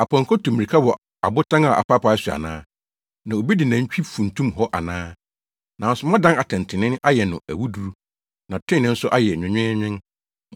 Apɔnkɔ tu mmirika wɔ abotan a apaapae so ana? Na obi de nantwi funtum hɔ ana? Nanso moadan atɛntrenee ayɛ no awuduru. Na trenee nso ayɛ nwenweenwen.